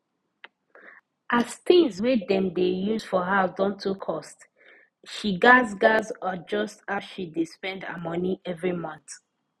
as things wey dem dey use for house don too dey cost she gats gats adjust how she dey spend her moni every month